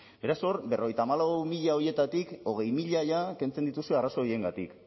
beraz hor berrogeita hamalau mila horietatik hogei mila jada kentzen dituzue arrazoi horiengatik